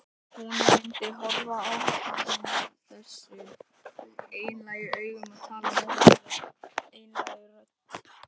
Hún myndi horfa á hann þessum einlægu augum og tala með þessari einlægu rödd.